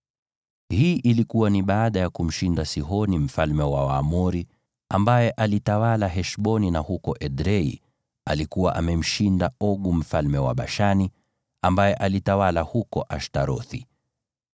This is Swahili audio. Hii ilikuwa baada ya kumshinda Sihoni mfalme wa Waamori, ambaye alitawala Heshboni, na pia huko Edrei alikuwa amemshinda Ogu mfalme wa Bashani, ambaye alitawala huko Ashtarothi.